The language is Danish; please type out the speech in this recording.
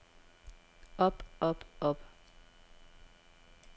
op op op